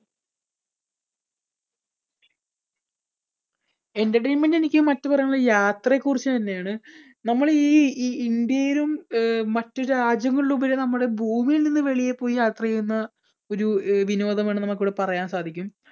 entertainment എനിക്ക് മറ്റ് പറയാനുള്ളത് യാത്രയെക്കുറിച്ച് തന്നെയാണ് നമ്മളീ ഈ, ഈ ഇന്ത്യയിലും ആഹ് മറ്റു രാജ്യങ്ങളിലും ഉപരി നമ്മള് ഭൂമിയിൽനിന്ന് വെളിയിൽ പോയി യാത്ര ചെയ്യുന്ന ഒരു അഹ് വിനോദമാണ് നമുക്കിവിടെ പറയാൻ സാധിക്കും.